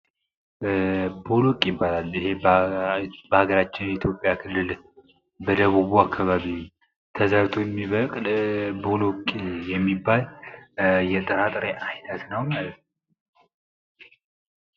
ቦለቅ ይባላል ፤ በሀገራችን ኢትዮጵያ ክልል በደቡቡ አከባቢ ተዘርቶ የሚበቅል ቦሎቅ የሚባል የጥራጥሬ አይነት ነው ማለት ነው።